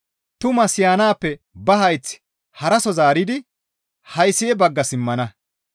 Tumaa siyanaappe ba hayth haraso zaaridi haysi7e bagga simmana.